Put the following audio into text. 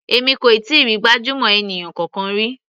Èmi kò tíì rí gbajúmọ̀ ènìyàn kankan rí.